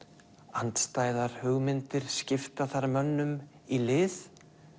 andstæðar hugmyndir skipta þar mönnum í lið